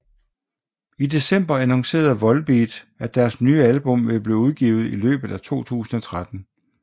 I december annoncerede Volbeat at deres nye album ville blive udgivet i løbet af 2013